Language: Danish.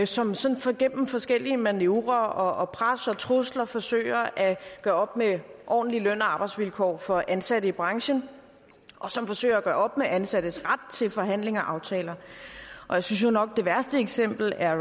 som sådan gennem forskellige manøvrer pres og trusler forsøger at gøre op med ordentlige løn og arbejdsvilkår for ansatte i branchen og som forsøger at gøre op med ansattes ret til forhandling af aftaler og jeg synes jo nok det værste eksempel er